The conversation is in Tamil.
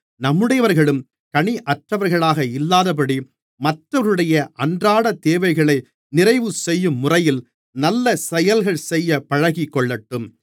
நம்முடையவர்களும் கனியற்றவர்களாக இல்லாதபடி மற்றவர்களுடைய அன்றாட தேவைகளை நிறைவுசெய்யும் முறையில் நல்ல செயல்களைச் செய்யப் பழகிக்கொள்ளட்டும்